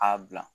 A bila